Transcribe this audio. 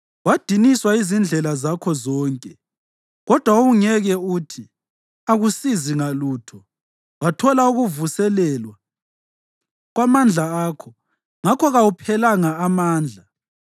Wadiniswa yizindlela zakho zonke, kodwa wawungeke uthi, ‘Akusizi ngalutho.’ Wathola ukuvuselelwa kwamandla akho. Ngakho kawuphelanga amandla.